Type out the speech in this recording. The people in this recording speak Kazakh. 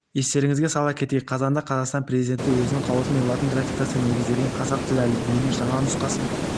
естеріңізге сала кетейік қазанда қазақстан президенті өзінің қаулысымен латын графикасына негізделген қазақ тілі әліпбиінің жаңа нұсқасын